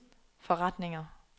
forretninger